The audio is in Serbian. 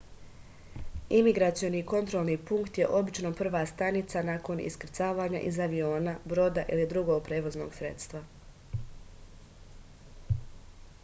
imigracioni kontrolni punkt je obično prva stanica nakon iskrcavanja iz aviona broda ili drugog prevoznog sredstva